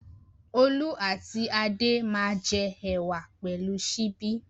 Olú àti Adé máa jẹ ẹ̀wà pẹ̀lú ṣíbí.